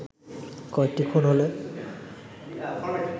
কয়েকটি খুন হলে